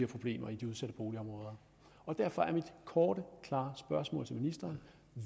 problemer i de udsatte boligområder derfor er mit korte klare spørgsmål til ministeren